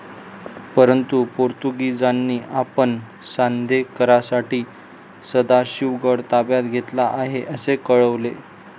परंतु पोर्तुगिजांनी आपण सौंधेकरांसाठी सदाशिवगड ताब्यात घेतला आहे असे कळवले.